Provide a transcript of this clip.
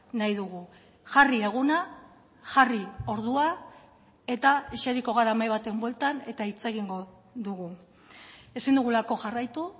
nahi dugu jarri eguna jarri ordua eta eseriko gara mahai baten bueltan eta hitz egingo dugu ezin dugulako jarraitu